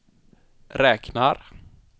räknar